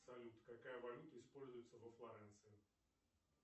салют какая валюта используется во флоренции